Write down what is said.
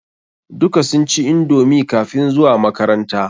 Duka sun ci indomi kafin zuwa makaranta.